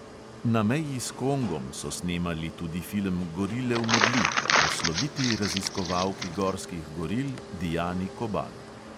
Na meji s kongom so snemali tudi film gorile v megli o sloviti raziskovalki gorskih goril diani kobal.